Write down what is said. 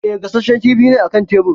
E, gashashshen kifi ne a kan tebir.